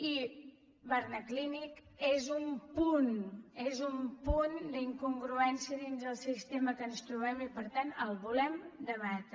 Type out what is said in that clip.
i barnaclínic és un punt és un punt d’incongruència dins el sistema que ens trobem i per tant el volem debatre